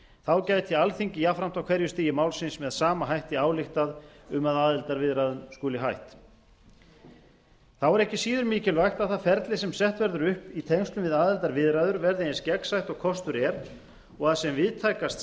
þá gæti alþingi jafnframt á hverju stigi málsins með sama hætti ályktað um að aðildarviðræðum skuli hætt þá er ekki síður mikilvægt að það ferli sem sett verður upp í tengslum við aðildarviðræður verði eins gegnsætt og kostur er og að sem víðtækast